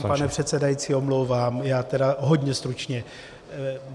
Tady se vám, pane předsedající, omlouvám, já tedy hodně stručně.